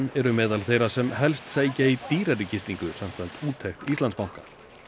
eru meðal þeirra sem helst sækja í dýrari gistingu samkvæmt úttekt Íslandsbanka